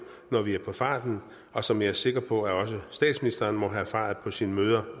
når vi er på farten og som jeg er sikker på også statsministeren må have erfaret på sine møder